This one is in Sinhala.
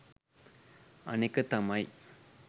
අනෙක තමයි